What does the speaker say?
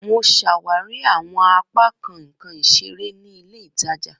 Mo ṣawari awọn apakan nkan isere ni ile itaja.